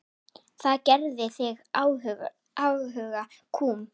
Það gerði þig afhuga kúm.